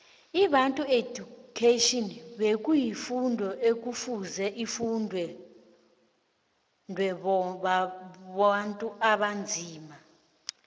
ibantu education bekuyi fundu ekufuzeifundwebontu abanzima